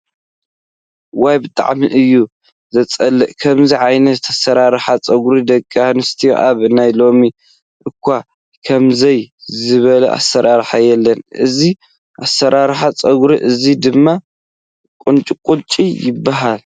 ዋይ! ብጣዕሚ እዩ ዘፅልእ፦ ከምዚ ዓይነት ኣሰራርሓ ፀጉሪ ደቂ ኣንስትዮ ኣብ ናይ ሎሚ እኳ ከምዙይ ዝበለ ኣሰራርሓ የለን። እዚ ኣሰራርሓ ፀጉረ እዚ ድማ ቁንጪቁጮ ይብሃል።